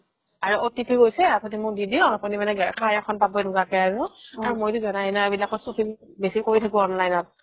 আৰু OTP গৈছে আপুনি মোক দি দিয়ক আপুনি মানে এখন পাব এনেকুৱাকে আৰু আৰু মইটো জানাই এইবিলাকত চখিন বেচি কৰি থাকো online ত